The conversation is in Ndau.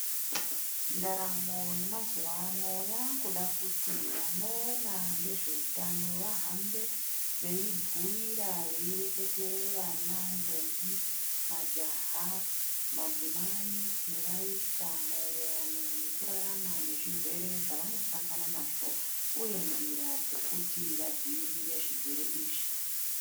Ndaramo yemazuva ano yakuda kuti vanoona ngezveutano vahambe veibhuyira veireketere vana, ndombi, majaha, madzimai nevaisa maererano nekurarama nezvirwere zvevanosangana nazvo, uye nzira dzekuti vadzivirire zvirwere izvi.